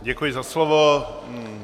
Děkuji za slovo.